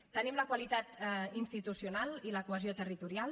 tenim la qualitat institucional i la cohesió territorial